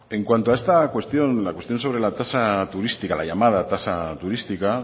en cuanto a esta cuestión la cuestión sobre la tasa turística la llamada tasa turística